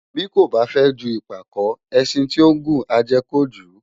Bí kò fę ju ìpàkó, ęşin tí ó ngùn á ję kojū